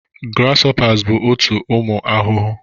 Grasshoppers bụ otu ụmụ ahụhụ